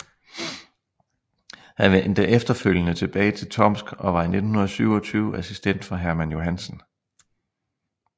Han vendte efterfølgende tilbage til Tomsk og var fra 1927 assistent for Hermann Johansen